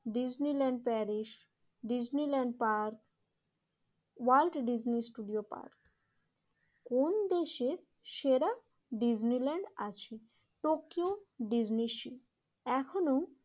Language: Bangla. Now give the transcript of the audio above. Disneyland Paris Disneyland park world Disney studio park. কোন দেশের সেরা ডিজনিল্যান্ড আছে টোকিও ডিজনি সী এখনোও